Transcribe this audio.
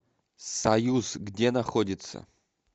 союз где находится